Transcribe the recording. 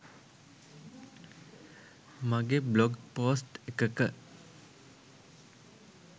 මගෙ blog post එකක